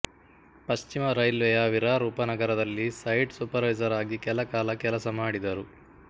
ಪಶ್ಚಿಮ ರೈಲ್ವೆಯ ವಿರಾರ್ ಉಪನಗರದಲ್ಲಿ ಸೈಟ್ ಸೂಪರ್ವೈಸರ್ ಆಗಿ ಕೆಲ ಕಾಲ ಕೆಲಸಮಾಡಿದರು